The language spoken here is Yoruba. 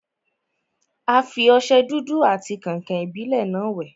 A fi ọsẹ dúdú àti kàǹkàn-ìbílẹ́ náà wẹ̀.